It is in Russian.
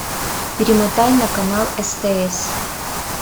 перемотай на канал стс